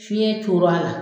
Fiɲɛ cor'a la